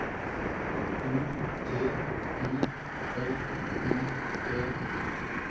O T I L I E